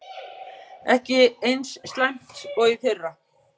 Ekki eins slæmt og í fyrra